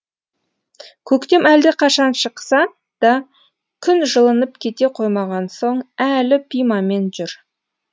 көктем әлдеқашан шықса да күн жылынып кете қоймаған соң әлі пимамен жүр